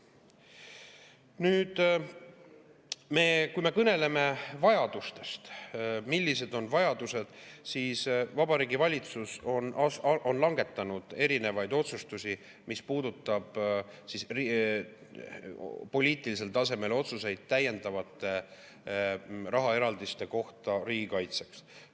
Nüüd, kui me kõneleme sellest, millised on vajadused, siis Vabariigi Valitsus on langetanud poliitilisel tasemel erinevaid otsuseid täiendavate rahaeraldiste kohta riigikaitseks.